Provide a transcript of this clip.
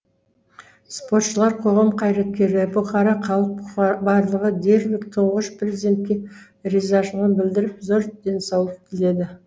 спортшылар қоғам қайраткерлері бұқара халық барлығы дерлік тұңғыш президентке ризашылығын білдіріп зор денсаулық тіледі